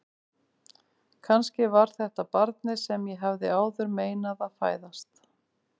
Kannski var þetta barnið sem ég hafði áður meinað að fæðast.